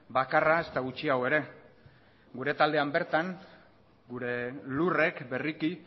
bakarra ezta gutxiago ere gure taldean bertan gure lurrek berriki